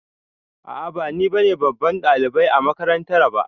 A'a ba nine babban ɗalibai a makarantara ba.